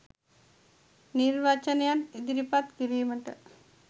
නිර්වචනයන් ඉදිරිපත් කිරීමට